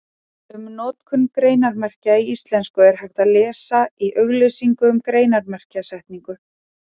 Um notkun greinarmerkja í íslensku er hægt að lesa í auglýsingu um greinarmerkjasetningu.